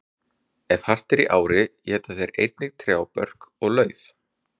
Ef hart er í ári éta þeir einnig trjábörk og lauf.